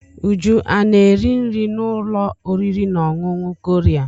Uju ana-eri nri n'ụlọ oriri na ọṅụṅụ Korea?